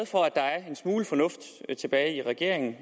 for at der er en smule fornuft tilbage i regeringen